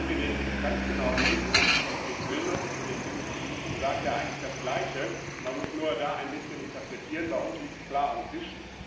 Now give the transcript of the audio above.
Und wenn Sie den Text ganz genau lesen, der Bericht Wilmott zu klinischen Prüfungen sagt eigentlich das Gleiche, man muss da nur ein bisschen interpretieren, bei uns liegt das klar auf dem Tisch.